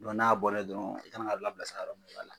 Don n'a bɔra ye dɔrɔn i kana ka labila sira yɔrɔ mun i b'a la.